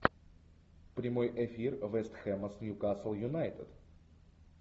прямой эфир вест хэма с ньюкасл юнайтед